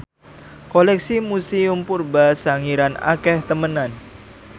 koleksi Museum Purba Sangiran akeh temenan